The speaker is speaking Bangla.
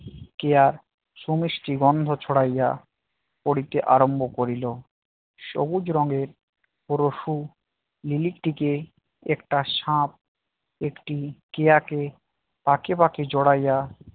কেয়ার সু মিষ্টি গন্ধ ছড়াইয়া পড়িতে আরম্ভ করিল সবুজ রঙের পশু লিলিকটিকে একটা সাপ একটি কেয়া কে পাকে পাকে জরাইয়া